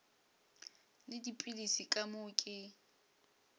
le dipilisi ka moo ke